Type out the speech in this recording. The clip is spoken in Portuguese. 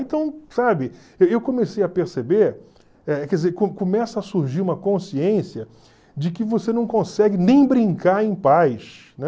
Então, sabe, eu comecei a perceber, eh quer dizer, co começa a surgir uma consciência de que você não consegue nem brincar em paz, né?